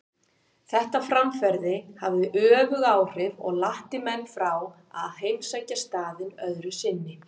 Þetta framferði hafði öfug áhrif og latti menn frá að heimsækja staðinn öðru sinni.